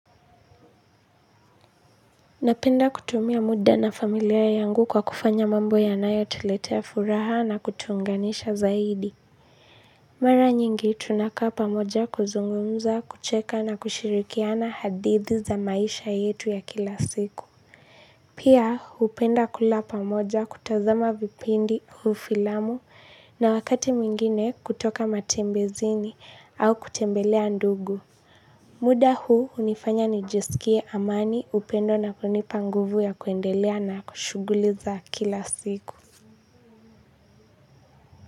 Napenda kutumia muda na familia yangu kwa kufanya mambo yanaye tuletea furaha na kutuunganisha zaidi. Mara nyingi tunakaa pamoja kuzungumza, kucheka na kushirikiana hadithi za maisha yetu ya kila siku. Pia hupenda kula pamoja kutazama vipindi au filamu na wakati mwingine kutoka matembezini au kutembelea ndugu. Muda huu hunifanya nijisikie amani upendo na kunipa nguvu ya kuendelea na ku shughuliza kila siku.